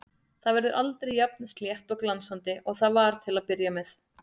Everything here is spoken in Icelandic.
Það verður aldrei jafn slétt og glansandi og það var til að byrja með.